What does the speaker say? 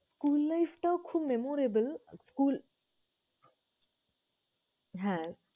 School life টাও খুব memorable school হ্যাঁ